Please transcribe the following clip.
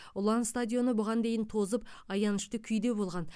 ұлан стадионы бұған дейін тозып аянышты күйде болған